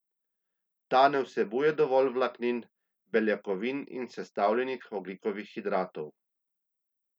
Ta naj vsebuje dovolj vlaknin, beljakovin in sestavljenih ogljikovih hidratov.